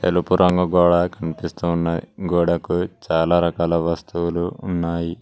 తెలుపు రంగు గోడ కనిపిస్తూ ఉన్నది గోడకు చాలా రకాల వస్తువులు ఉన్నాయి.